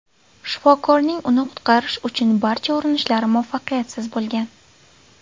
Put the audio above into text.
Shifokorning uni qutqarish uchun barcha urinishlari muvaffaqiyatsiz bo‘lgan.